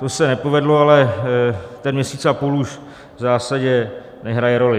To se nepovedlo, ale ten měsíc a půl už v zásadě nehraje roli.